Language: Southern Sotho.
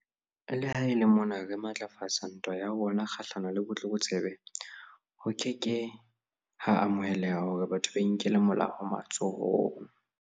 Le ha e le mona re matlafatsa ntwa ya rona kgahlano le botlokotsebe, ho ke ke ha amoheleha hore batho ba inkele molao matsohong.